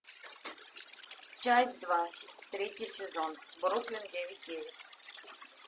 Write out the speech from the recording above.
часть два третий сезон бруклин девять девять